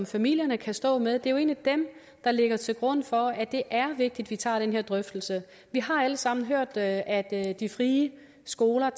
familierne kan stå med er jo dem der ligger til grund for at det er vigtigt at vi tager den her drøftelse vi har alle sammen hørt at at de frie skoler